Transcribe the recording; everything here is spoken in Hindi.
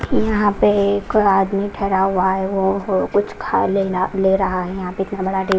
यहां पे एक आदमी ठहरा हुआ है वो कुछ खा नहीं ले रहा है यहां पे--